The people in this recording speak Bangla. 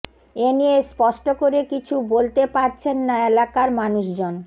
এনিয়ে স্পষ্ট করে কিছু বলতে পারছেন না এলাকার মানুষজন